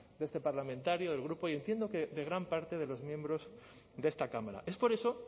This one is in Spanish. de este parlamentario del grupo y entiendo que de gran parte de los miembros de esta cámara es por eso